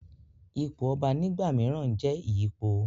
ipò ọba nígbà mìíràn n jẹ́ ìyípo